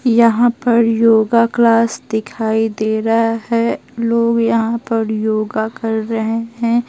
यहां पर yoga class दिखाई दे रहा है लोग यहां पर योगा कर रहे हैं।